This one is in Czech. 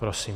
Prosím.